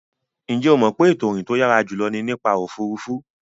Ǹjẹ́ o mọ̀ pé ètò ìrìn tó yàrá jùlọ ni nípa òfuurufú.